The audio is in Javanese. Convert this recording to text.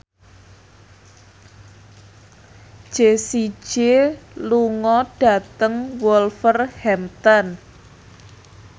Jessie J lunga dhateng Wolverhampton